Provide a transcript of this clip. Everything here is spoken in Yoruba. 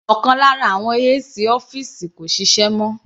Ọ̀kan lára àwọn AC ọ́fìsì kò ṣiṣẹ́ mọ́.